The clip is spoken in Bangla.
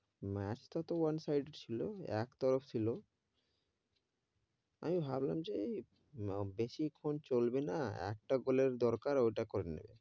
Match টা তো one side ছিল, এক তরফ ছিল আমি ভাবলাম যে যেই বেশি খন চলবে না, একটা গোলের দরকার ওটা করে নেবে,